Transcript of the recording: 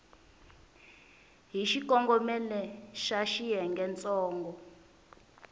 hi xikongomelo xa xiyenge ntsongo